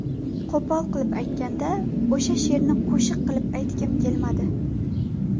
Qo‘pol qilib aytganda, o‘sha she’rni qo‘shiq qilib aytgim kelmadi.